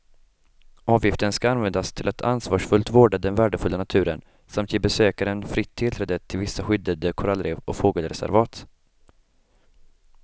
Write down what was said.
Avgiften ska användas till att ansvarsfullt vårda den värdefulla naturen samt ge besökaren fritt tillträde till vissa skyddade korallrev och fågelreservat.